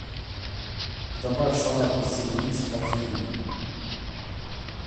добавь салат весенний микс в корзину